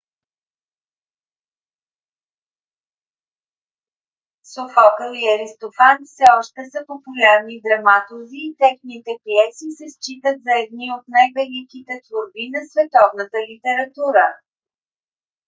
софокъл и аристофан все още са популярни драматурзи и техните пиеси се считат за едни от най - великите творби на световната литература